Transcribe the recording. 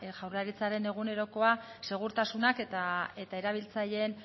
jaurlaritzaren egunerokoa segurtasunak eta erabiltzaileen